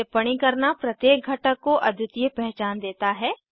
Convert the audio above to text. टिप्पणी करना प्रत्येक घटक को अद्वितीय पहचान देता है